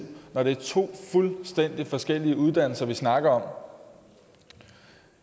når det er to fuldstændig forskellige uddannelser vi snakker om